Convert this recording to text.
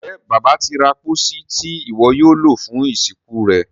Njé Bàbá tí ra pósí Ti iwọ yóò lo fún ìsìnkú rẹ?